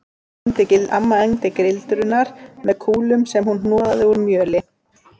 Amma egndi gildrurnar með kúlum sem hún hnoðaði úr mjöli